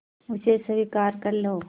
उसे स्वीकार कर लो